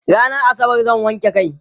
rannan asabar zan wanke kai